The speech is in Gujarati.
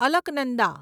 અલકનંદા